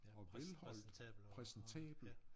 Præs præsentabel og og ja